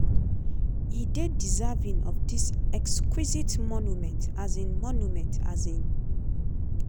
"e dey deserving of dis exquisite monument. um monument. um